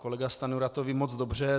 Kolega Stanjura to ví moc dobře.